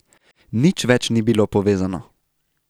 Nič več ni bilo povezano.